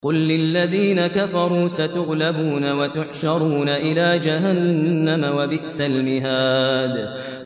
قُل لِّلَّذِينَ كَفَرُوا سَتُغْلَبُونَ وَتُحْشَرُونَ إِلَىٰ جَهَنَّمَ ۚ وَبِئْسَ الْمِهَادُ